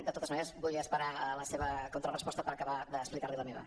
de totes maneres vull esperar la seva contraresposta per acabar d’explicar li la meva